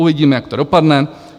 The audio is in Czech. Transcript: Uvidíme, jak to dopadne.